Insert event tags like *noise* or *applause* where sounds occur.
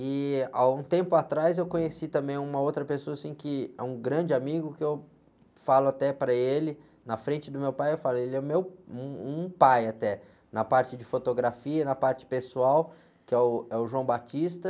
E, há um tempo atrás, eu conheci também uma outra pessoa, assim, que é um grande amigo, que eu falo até para ele, na frente do meu pai, eu falo, ele é meu, é um, um pai até, na parte de fotografia, na parte pessoal, que é o, é o. *unintelligible*